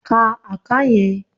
Ka àká yẹn!